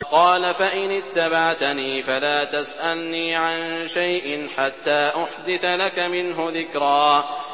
قَالَ فَإِنِ اتَّبَعْتَنِي فَلَا تَسْأَلْنِي عَن شَيْءٍ حَتَّىٰ أُحْدِثَ لَكَ مِنْهُ ذِكْرًا